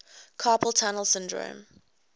carpal tunnel syndrome